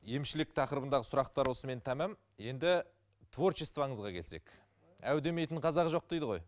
емшілік тақырыбындағы сұрақтар осымен тамам енді творчествоңызға келсек әу демейтін қазақ жоқ дейді ғой